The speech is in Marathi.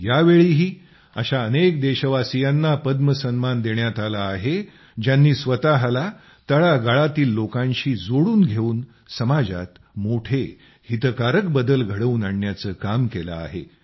यावेळीही अशा अनेक देशवासीयांना पद्म सन्मान देण्यात आला आहे ज्यांनी स्वतःला तळागाळातील लोकांशी जोडून घेऊन समाजात मोठे हितकारक बदल घडवून आणण्याचे काम केले आहे